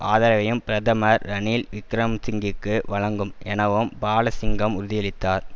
ஆதரவையும் பிரதமர் ரணில் விக்கிரமசிங்குக்கு வழங்கும் எனவும் பாலசிங்கம் உறுதியளித்தார்